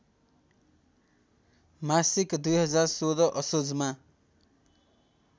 मासिक २०१६ असोजमा